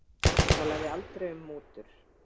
Talaði aldrei um mútur